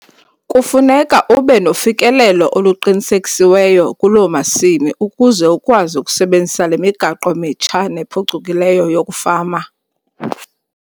Kufuneka ube nofikelelo oluqinisekisiweyo kuloo masimi ukuze ukwazi ukusebenzisa le migaqo mitsha nephucukileyo yokufama.